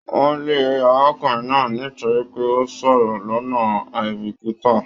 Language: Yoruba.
Wọn lè arákùnrin náà nítorí pé o n sọ̀rọ̀ lọnà aibikita.